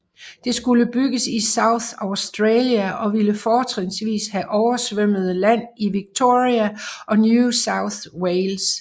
Det skulle bygges i South Australia og ville fortrinsvis have oversvømmet land i Victoria og New South Wales